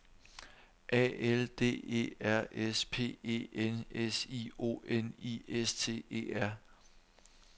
A L D E R S P E N S I O N I S T E R